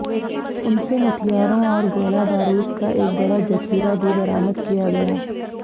उनसे हथियारों और गोला बारूद का एक बड़ा जखीरा भी बरामद किया गया